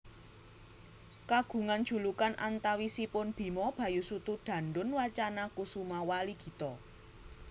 Kagungan julukan antawisipun Bima Bayusutu Dandun Wacana Kusuma Waligita